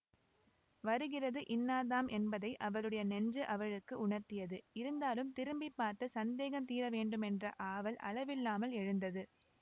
வருகிறது இன்னார்தாம் என்பதை அவளுடைய நெஞ்சு அவளுக்கு உணர்த்தியது இருந்தாலும் திரும்பி பார்த்து சந்தேகம் தீரவேண்டுமென்ற ஆவல் அளவில்லாமல் எழுந்தது